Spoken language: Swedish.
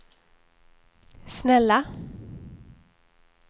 snälla